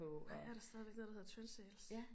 Ej er der stadigvæk noget der hedder Trendsales?